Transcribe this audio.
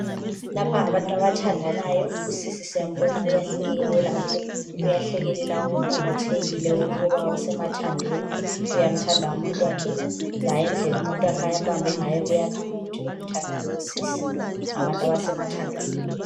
Lapha ngabantu abathandanayo, usisi siyambona uyahlekelela umomothekile ukuba usemathandweni. Uyamthanda umuntu wakhe laye indlela umuntu wakhe ambambe ngayo kuyakhanya ukuthi uyamthanda lowo sisi .Ngabantu abasemathandweni.